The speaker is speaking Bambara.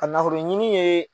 Ka nafolo ɲini ye